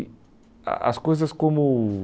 E a as coisas como